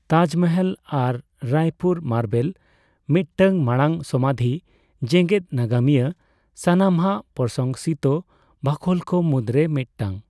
ᱛᱟᱡᱢᱚᱦᱚᱞ, ᱟᱨᱟᱭ ᱯᱩᱨ ᱢᱟᱨᱵᱮᱞ ᱢᱤᱫᱴᱟᱝᱢᱟᱲᱟᱝ ᱥᱚᱢᱟᱫᱷᱤ, ᱡᱮᱜᱮᱫ ᱱᱟᱜᱟᱢᱤᱭᱟᱹ ᱥᱟᱱᱟᱢᱟᱜ ᱯᱨᱚᱥᱚᱝᱥᱤᱛᱚ ᱵᱟᱠᱷᱳᱞ ᱠᱚ ᱢᱩᱫ ᱨᱮ ᱢᱤᱫᱴᱟᱝ ᱾